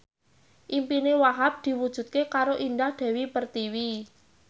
impine Wahhab diwujudke karo Indah Dewi Pertiwi